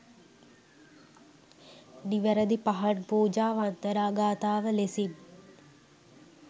නිවැරැදි පහන් පූජා වන්දනා ගාථාව ලෙසින්